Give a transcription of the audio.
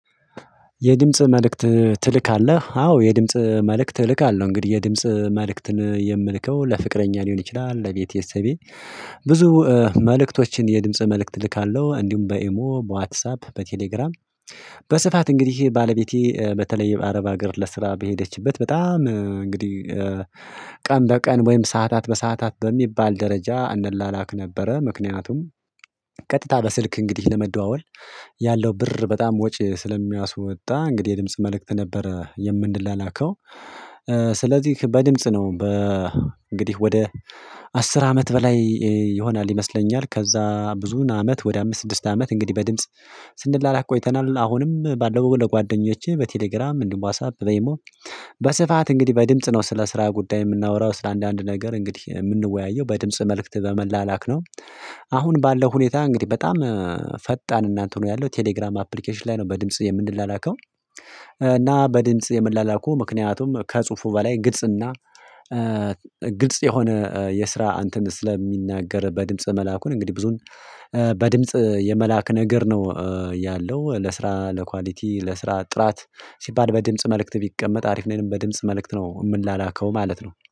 የድምጽ መልእክት ትልካለህ አዎ የድምጽ መልእክት እልካለሁ እንግዲህ የድምጽ መልእክትን የምልከው ለፍቅረኛ ሊሆን ይችላል ለቤተሰቤ። ብዙ መልእክቶችን የድምጽ መልእክት ልካለሁ እንዲሁም በኤሞ በዋትሳፕ በቴሌግራም። በስፋት እንግዲህ ባለቤቴ በተለይ የአረብ ሀገር ለስራ በሄደችበት በጣም እንግዲህ ቀን በቀን ወይም ሰዓታት በሰአታት በሚባል ደረጃ እንላላክ ነበረ ምክንያቱም ቀጥታ በስልክ እንግዲህ ለመደዋወል ያለው ብር በጣም ወጪ ስለሚያስወጣ እንግዲህ የድምጽ መልእክት ነበረ የምንላከው። ስለዚህ በድምጽ ነው በ እንግዲህ ወደ አስር አመት በላይ ይሆናል ይመስለኛል። ከዛ ብዙ አመት ወደ አምስት ስድስት አመት እንግዲህ በድምጽ ስንድላ ላክ ቆይተናል አሁንም ባለው ለጓደኞቼ በቴሌግራም ዋትሳፐ በኤሞ። በስፋት እንግዲህ በድምጽ ነው ስለ ስራ ጉዳይ የምናወራው ስለ አንዳንድ ነገር እንግዲህ የምንወያየው በድምጽ መልእክት በመላላክ ነው። አሁን ባለው ሁኔታ እንግዲህ በጣም ፈጣን እና እንትኑ ያለው ቴሌግራም አፕሊኬሽን ላይ ነው በድምጽ የምንላከው። እና በድምጽ የመላላኩ ምክንያቱም ከጽሁፉ በላይ ግልጽ እና ግልጽ የሆነ የስራ እንትን ስለሚናገር በድምጽ መላኩን እንግዲህ ብዙም በድምጽ የመላክ ነገር ነው። ያለው ለስራ ለኳሊቲ ለስራ ጥራት ሲባል በድምጽ መልእክት ቢቀመጥ አሪፍንም በድምጽ መልእክት ነው የምንላከው ማለት ነው